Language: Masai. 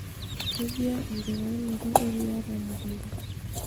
kejia enkitainoto eriaa temukunta?